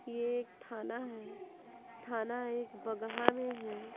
ये एक थाना है थाना एक बगहा में है।